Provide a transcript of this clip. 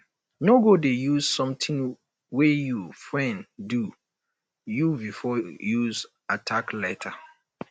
no go dey use something wey your friend do you before use attack later